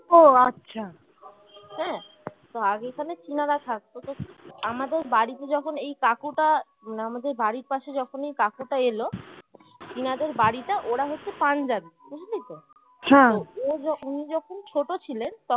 তো আগে এখানে চীনারা থাকতো আমাদের বাড়িতে যখন এই কাকুটা মানে আমাদের বাড়ির পাশে যখন এই কাকুটা এলো চীনাদের বাড়িটা ওরা হচ্ছে পাঞ্জাবি বুঝলি তো হা ও যখন উনি যখন ছোট ছিলেন